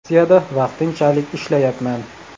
Rossiyada vaqtinchalik ishlayapman.